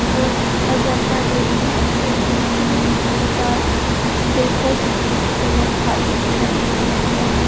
वो अजंता डेरी है और दूसरी दुकान बेकर्स की वह खाली दिखाई है यहां--